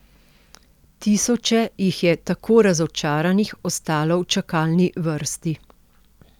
Tisoče jih je tako razočaranih ostalo v čakalni vrsti.